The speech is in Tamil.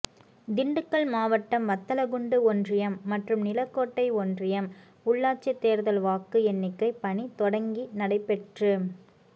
திண்டுக்கல் மாவட்டம் வத்தலக்குண்டு ஒன்றியம் மற்றும் நிலக்கோட்டை ஒன்றியம் உள்ளாட்சி தேர்தல் வாக்கு எண்ணிக்கை பணி தொடங்கி நடைபெற்று